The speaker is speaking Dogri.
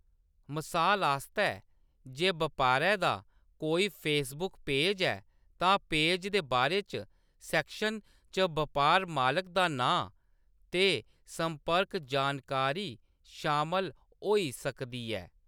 मसाल आस्तै, जे बपारै दा कोई फेसबुक पेज ऐ, तां पेज दे बारे च सैक्शन च बपार मालक दा नांऽ ते संपर्क जानकारी शामल होई सकदी ऐ।